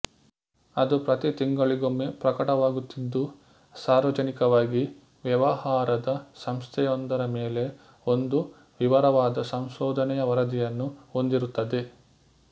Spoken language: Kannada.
ಅದು ಪ್ರತಿ ತಿಂಗಳಿಗೊಮ್ಮೆ ಪ್ರಕಟವಾಗುತ್ತಿದ್ದು ಸಾರ್ವಜನಿಕವಾಗಿ ವ್ಯವಹಾರದ ಸಂಸ್ಥೆಯೊಂದರ ಮೇಲೆ ಒಂದು ವಿವರವಾದ ಸಂಶೋಧನೆಯ ವರದಿಯನ್ನು ಹೊಂದಿರುತ್ತದೆ